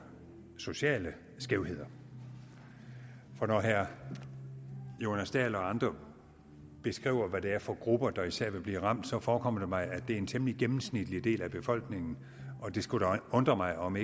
sociale skævheder når herre jonas dahl og andre beskriver hvad det er for nogle grupper der især vil blive ramt forekommer det mig at det er en temmelig gennemsnitlig del af befolkningen og det skulle da undre mig om